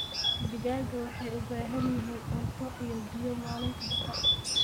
Digaagga waxay u baahan yihiin cunto iyo biyo maalin kasta.